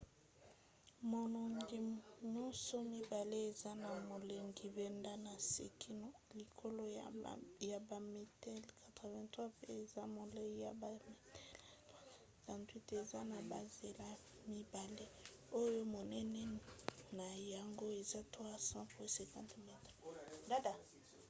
manongi nyonso mibale eza na molai banda na se kino likolo ya bametele 83 mpe eza molai na bametele 378 eza na banzela mibale oyo monene na yango eza 3,50 m